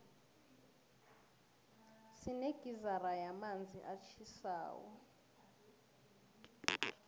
sinegizara yamanzi atjhisako